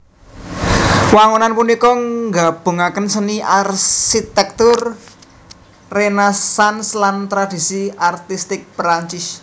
Wangunan punika nggabungaken seni arsitèktur Renaisans lan tradisi artistik Prancis